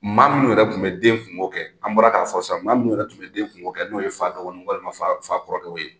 Maa minnu yɛrɛ kun bɛ den kun kɛ, an bɔra k'a fɔ sisan, maa minnu yɛrɛ kun bɛ den kun kɛ n'o ye fa dɔgɔnin ni walima fa kɔrɔkɛw ye